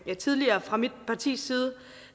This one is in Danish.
vi tidligere fra mit partis side